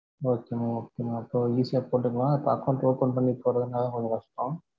okay mam okay mam அப்போ easy யா போட்டுக்கலாம், இப்போ account open பண்ணி போடுறது தான் கொஞ்சம் கஷ்டம்.